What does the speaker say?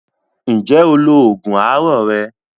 Ǹjẹ́ o lo oògùn àárọ̀ rẹ?